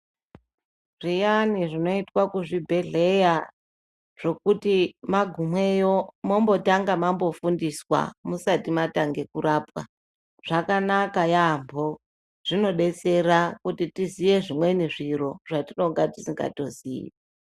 Zviyani zvinoitwa kuzvibhehleya zvekuti magumeyo mombotange mambofundiswa musati mwatange kurapwa zvakanaka yamho zvinodetsera kuti tiziye zvimweni zviro zvatinonga tisingatoziyi.